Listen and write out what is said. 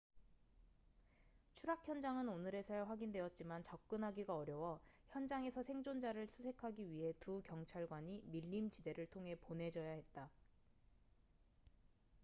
추락 현장은 오늘에서야 확인되었지만 접근하기가 어려워 현장에서 생존자를 수색하기 위해 두 경찰관이 밀림 지대를 통해 보내져야 했다